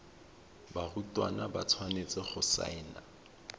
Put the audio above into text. barutwana ba tshwanetse go saena